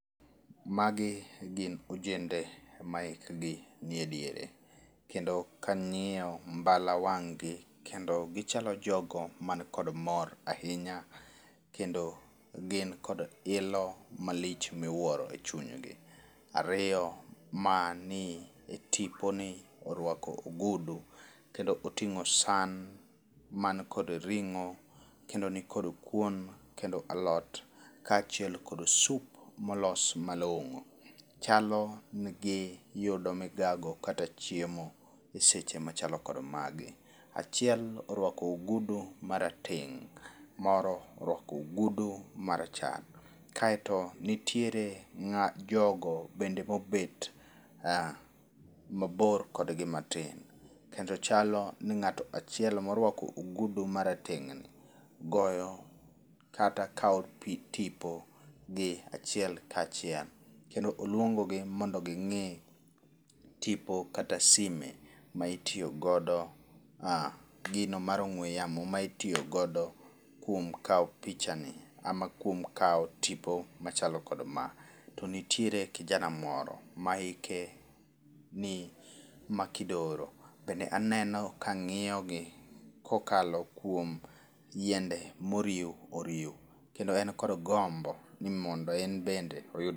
Magi gin ojende ma hik gi ni e diere. Kendo kang'iyo mbala wang' gi, kendo gichalo jogo man kod mor ahinya. Kendo gin kod ilo malich miwuoro e chunygi. Ariyo, mani e tipo ni orwako ogudu kendo oting'o san man kod ring'o, kendo nikod kuon, kendo alot, kachiel kod soup molos malong'o. Chalo ni giyudo migago kata chiemo e seche machalo kor magi. Achiel orwako ogudu ma rateng' moro orwako ogudu marachar. Kaeto nitiere jogo bende mobet mabor kodgi matin. Kendo chalo ni ng'ato achiel morwako ogudu ma rateng' ni goyo kata kao tipo gi achiel kachiel. Kendo oluongo gi mondo gi ng'ii tipo kata sime ma itiyogodo ah. Gino mar ongw'e yamo ma itiyogodo kuom kao picha ni ama kuom kao tipo machalo kod ma. To nitiere kijana moro ma hike ni makidoro bende aneno kang'iyo gi kokalo kuom yiende moriw oriw kendo en kod gombo ni mondo en bende oyud